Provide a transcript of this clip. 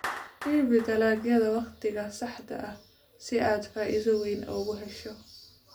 Iibi dalagyada wakhtiga saxda ah si aad faa'iido weyn u hesho.